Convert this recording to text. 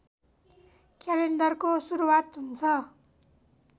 क्यालेन्डरको सुरुवात हुन्छ